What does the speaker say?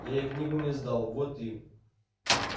я ей книгу не сдал вот и